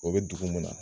O bɛ dugu mun na